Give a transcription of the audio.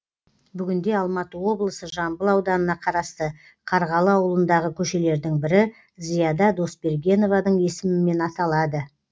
бүгінде алматы облысы жамбыл ауданына қарасты қарғалы ауылындағы көшелердің бірі зияда досбергенованың есімімен аталады